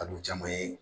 Ka don caman ye